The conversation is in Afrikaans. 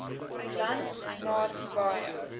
land maar baie